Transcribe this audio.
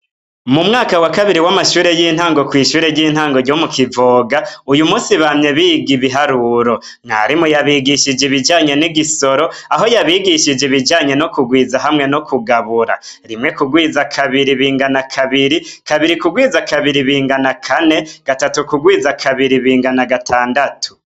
Mumwaka wa kabiri w'amashure y'intango kw'ishuri ry'intango ryo mukivoga uyumusi bamye biga ibiharuro. Mwarimu yabigishije ibijanye n'igisoro aho yabigishije ibijanye no kugwiza no kugabura. Rimwe kugwiza kabiri bingana kabiri, kabiri kigwiza kabiri bingana kane, gatatu kugwiza kabiri bingana gatandatu.